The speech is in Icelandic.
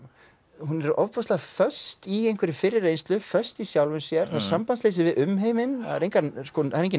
hún er ofboðslega föst í einhverri fyrri reynslu föst í sjálfri sér sambandsleysi við umheiminn það er enginn er enginn